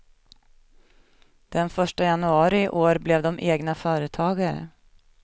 Den första januari i år blev de egna företagare.